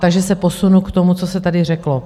Takže se posunu k tomu, co se tady řeklo.